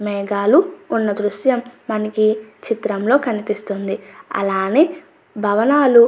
మేఘాలు ఉన్న దృశ్యం మనకి ఈ చిత్రంలో కనిపిస్తుంది అలానే భవనాలు.